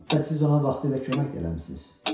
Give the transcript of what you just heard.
Hətta siz ona vaxtilə kömək də eləmisiniz.